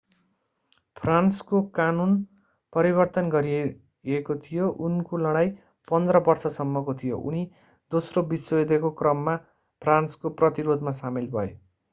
फ्रान्सको कानून परिवर्तन गरिएको थियो उनको लडाईं 15 बर्ष सम्मको थियो उनी दोस्रो विश्वयुद्धको क्रममा फ्रान्सको प्रतिरोधमा सामेल भए